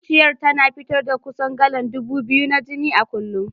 Zuciyar tana fitar da kusan galan ɗubu biyu na jini a kullum.